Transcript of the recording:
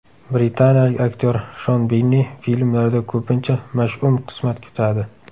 Britaniyalik aktyor Shon Binni filmlarda ko‘pincha mash’um qismat kutadi.